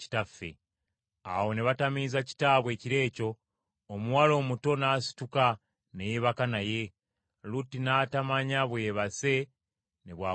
Awo ne batamiiza kitaabwe ekiro ekyo, omuwala omuto n’asituka ne yeebaka naye, Lutti n’atamanya bwe yeebase ne bw’agolokose.